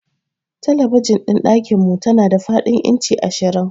Talabijin ɗin dakinmu tana da fadin inci ashirin.